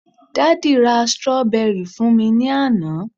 daddy ra strawberry fún mi ni Ana